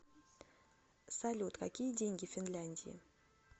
салют какие деньги в финляндии